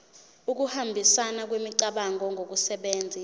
ukuhambisana kwemicabango ngokusebenzisa